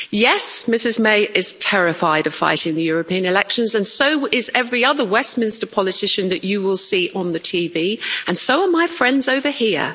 Yes, Mrs May is terrified of fighting the European elections and so is every other Westminster politician that you will see on the TV and so are my friends over here.